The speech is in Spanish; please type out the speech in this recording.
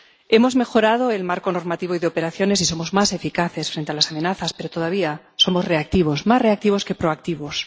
Hemos mejorado el marco normativo y de operaciones y somos más eficaces frente a las amenazas, pero todavía somos reactivos, más reactivos que proactivos.